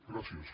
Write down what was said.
gràcies